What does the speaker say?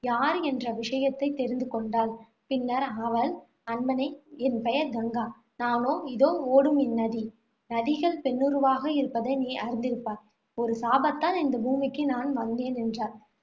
யார் என்ற விஷயத்தைத் தெரிந்து கொண்டாள். பின்னர் அவள், அன்பனே என் பெயர் கங்கா. நானே இதோ ஓடும் இந்நதி. நதிகள் பெண்ணுருவாக இருப்பதை நீர் அறிந்திருப்பாய் ஒரு சாபத்தால் இந்த பூமிக்கு நான் வந்தேன், என்றாள்.